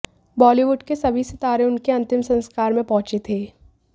बॉलीवुड के सभी सितारे उनके अंतिम संस्कार में पहुंचे थे